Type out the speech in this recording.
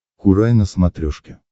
курай на смотрешке